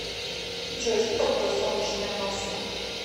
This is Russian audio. джой что такое солнечная масса